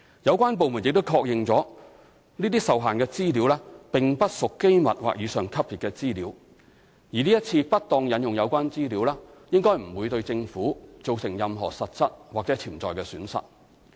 有關部門亦確認這些受限資料並不屬機密或以上級別資料，而這次不當引用有關資料，應該不會對政府造成任何實質或潛在的損失。